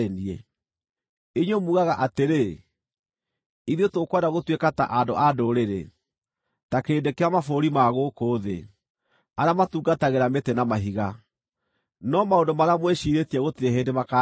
“ ‘Inyuĩ mugaga atĩrĩ, “Ithuĩ tũkwenda gũtuĩka ta andũ a ndũrĩrĩ, ta kĩrĩndĩ kĩa mabũrũri ma gũkũ thĩ, arĩa matungatagĩra mĩtĩ na mahiga.” No maũndũ marĩa mwĩciirĩtie gũtirĩ hĩndĩ makaahinga.